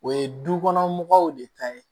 O ye du kɔnɔ mɔgɔw de ta ye